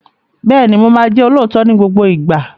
Bẹ́ẹ̀ni, mo máa jẹ́ olóòótọ́ ní gbogbo ìgbà.